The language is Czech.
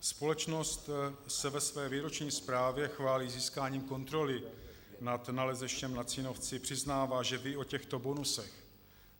Společnost se ve své výroční zprávě chválí získáním kontroly nad nalezištěm na Cínovci, přiznává, že ví o těchto bonusech.